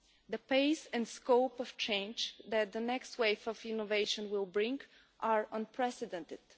The pace and scope of change that the next waves of innovation will bring are unprecedented.